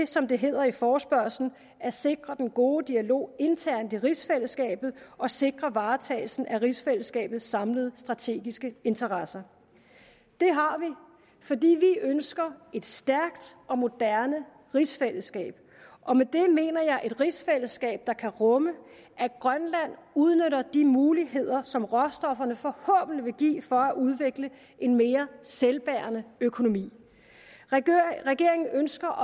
som det hedder i forespørgslen at sikre den gode dialog internt i rigsfællesskabet og sikre varetagelsen af rigsfællesskabets samlede strategiske interesser det har vi fordi vi ønsker et stærkt og moderne rigsfællesskab og med det mener jeg et rigsfællesskab der kan rumme at grønland udnytter de muligheder som råstofferne forhåbentlig vil give for at udvikle en mere selvbærende økonomi regeringen ønsker